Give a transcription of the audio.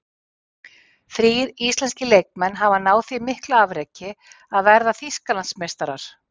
Þrír íslenskir leikmenn hafa náð því mikla afreki að verða Þýskalandsmeistarar.